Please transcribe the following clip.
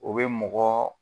O be mɔgɔɔ